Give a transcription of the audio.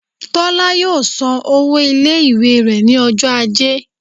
Tola yọọ sán ọwọ ile-iwe rẹ ni ọjọ ajé